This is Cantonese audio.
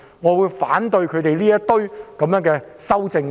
我反對他們提出的修正案。